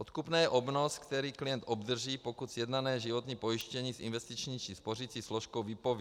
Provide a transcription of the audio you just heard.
Odkupné je obnos, který klient obdrží, pokud sjednané životní pojištění s investiční či spořicí složkou vypoví.